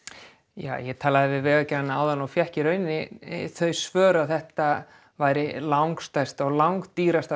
ég talaði við Vegagerðina áðan og fékk í rauninni þau svör að þetta yrði langstærsta og langdýrasta